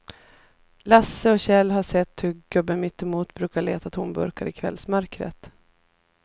Lasse och Kjell har sett hur gubben mittemot brukar leta tomburkar i kvällsmörkret.